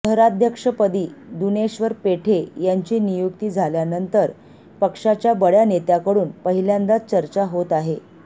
शहराध्यक्षपदी दुनेश्वर पेठे यांची नियुक्ती झाल्यानंतर पक्षाच्या बड्या नेत्याकडून पहिल्यांदाच चर्चा होत आहे